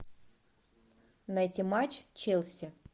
найти матч челси